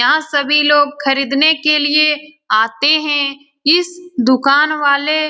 यहां सभी लोग खरीदने के लिए आते है इस दुकान वाले --